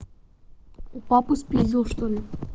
у папы спиздел что ли